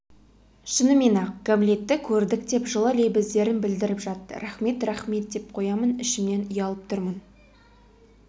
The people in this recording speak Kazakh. шынымен-ақ гамлетті көрдік деп жылы лебіздерін білдіріп жатты рахмет рахмет деп қоямын ішімнен ұялып тұрмын